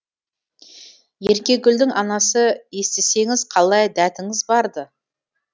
еркегүлдің анасы естісеңіз қалай дәтіңіз барды